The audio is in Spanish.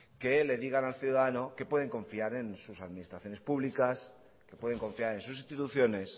que le digan al ciudadano que pueden confiar en sus administraciones públicas que pueden confiar en sus instituciones